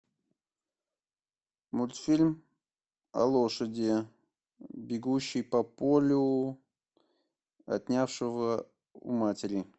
мультфильм о лошади бегущей по полю отнявшего у матери